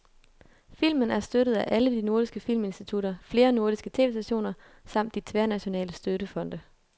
Filmen er støttet af alle de nordiske filminstitutter, flere nordiske tv-stationer samt de tværnationale støttefonde.